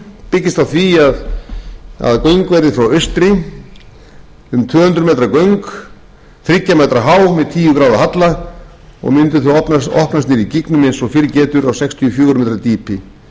byggist á því að göng verði frá austri um tvö hundruð metra göng þriggja metra há með tíu gráðu halla og mundu þau opnast niðri í gígnum eins og fyrr getur á sextíu og fjögur á metra